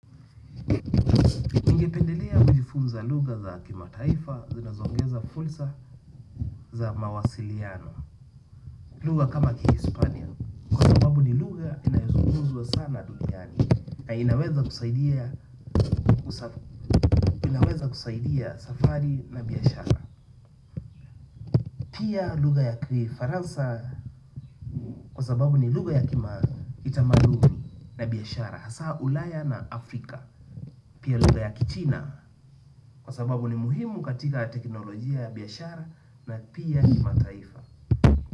Ningependelea kujifunza lugha za kimataifa zinazoongeza fursa za mawasiliano. Lugha kama kihispania. Kwa sababu ni lugha inayozungumzwa sana duniani na inaweza kusaidia inaweza kusaidia safari na biyashara. Pia lugha ya kifaransa kwa sababu ni lugha ya kima kitamaduni na biashara. Hasa ulaya na Afrika. Pia lugha ya kichina kwa sababu ni muhimu katika teknolojia ya biashara na pia kimataifa.